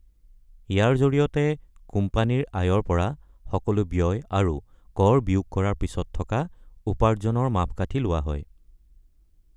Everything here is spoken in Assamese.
ইয়াৰ জৰিয়তে কোম্পানীৰ আয়ৰ পৰা সকলো ব্যয় আৰু কৰ বিয়োগ কৰাৰ পিছত থকা উপাৰ্জনৰ মাপকাঠি লোৱা হয়।